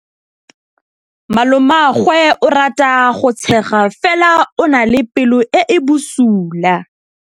Malomagwe o rata go tshega fela o na le pelo e e bosula.